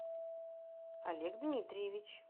олег дмитриевич